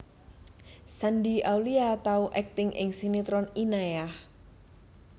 Shandy Aulia tau akting ing sinetron Inayah